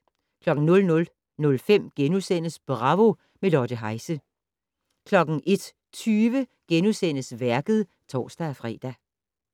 00:05: Bravo - med Lotte Heise * 01:20: Værket *(tor-fre)